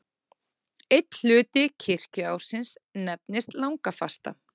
Einn hluti kirkjuársins nefnist langafasta.